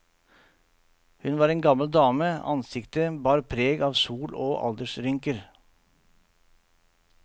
Hun var en gammel dame, ansiktet bar preg av sol og aldersrynker.